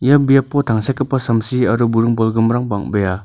ia biapo tangsekgipa samsi aro buring bolgrimrang bang·bea.